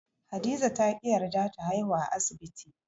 Hadiza ta ƙi yarda ta haihuwa a asibti.